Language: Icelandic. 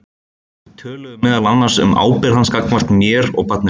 Þau töluðu meðal annars um ábyrgð hans gagnvart mér og barninu.